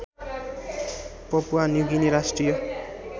Papua New Guinea राष्ट्रिय